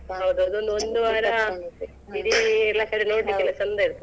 ಹೌದು ಅದೊಂದ್ ಒಂದು ವಾರ ಇಡೀ ಎಲ್ಲ ಕಡೆ ನೋಡ್ಲಿಕ್ಕೆ ಚಂದ ಇರ್ತದೆ.